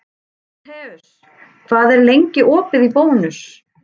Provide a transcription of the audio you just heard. Tímoteus, hvað er lengi opið í Bónus?